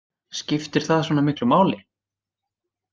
Skiptir það svona miklu máli?